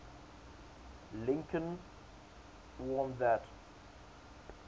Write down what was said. lincoln warned that